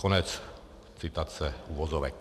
Konec citace, uvozovek.